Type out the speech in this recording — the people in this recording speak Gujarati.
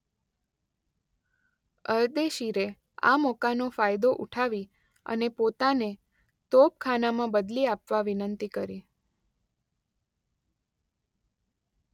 અરદેશીરે આ મોકાનો ફાયદો ઉઠાવી અને પોતાને તોપખાનામાં બદલી આપવા વિનંતી કરી.